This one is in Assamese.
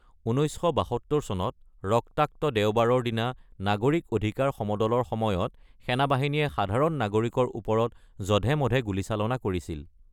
১৯৭২ চনত "ৰক্তাক্ত দেওবাৰ"ৰ দিনা নাগৰিক অধিকাৰ সমদলৰ সময়ত সেনাবাহিনীয়ে সাধাৰণ নাগৰিকৰ ওপৰত জধে-মধে গুলীচালনা কৰিছিল।